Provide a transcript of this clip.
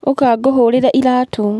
Ũka ngũhurĩre iraatũ.